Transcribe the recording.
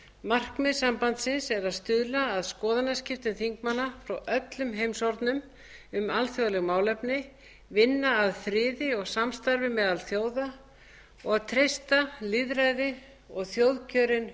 markmið sambandsins er að stuðla að skoðanaskiptum þingmanna frá öllum heimshornum um alþjóðleg málefni vinna að friði og samstarfi meðal þjóða og treysta lýðræði og þjóðkjörin